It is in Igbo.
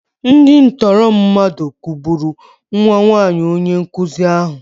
Ndị tọọrọ mmadụ kụgburu nwa nwaanyi onye nkụzi ahụ.